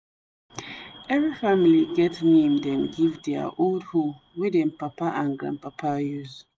every family get name dem give their old hoe wey dem papa and grand papa use